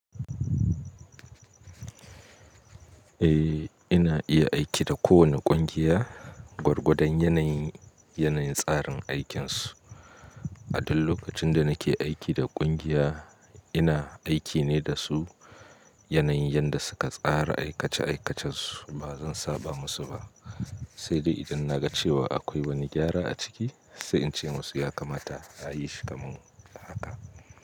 Eh, ina iya aiki da kowane ƙungiya gwargwadon yanayin, yanayin tsarin aikinsu. A duk lokacin da nake aiki da ƙungiya ina aiki ne da su yanayin yadda suka tsara aikace aikacensu. Ba zan saba musu ba. Sai dai idan na ga cewa akwai wani gyara a ciki sai in ce musu ya kamata a yi shi kamar haka.